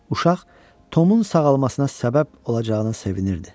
Uşaq Tomun sağalmasına səbəb olacağına sevinirdi.